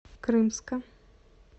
крымска